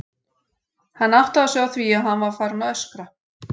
Hann áttaði sig á því að hann var farinn að öskra.